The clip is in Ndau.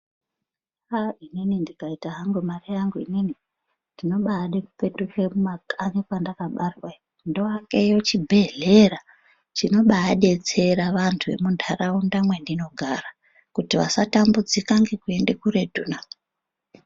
Ahh inini ndikaita hangu mare yangu inini ndinobaada kupetuke kumakanyi kwadakabarwa ndoakeyo chibhedhlera chinobaadetsera antu emuntaraunda mwendinogara kuti vasatambudzika ngekwende kuretu na.